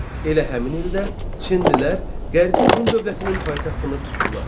Elə həmin ildə Çinlilər Qərbi Hun dövlətinin paytaxtını tutdular.